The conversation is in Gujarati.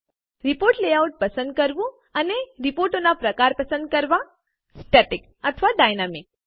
રીપોર્ટ લેઆઉટ પસંદ કરવું અને રીપોર્ટનો પ્રકાર પસંદ કરવો સ્ટેટિક અથવા ડાયનામિક